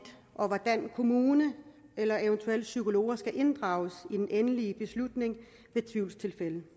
og hvordan kommunen eller eventuelt psykologer skal inddrages i den endelige beslutning ved tvivlstilfælde den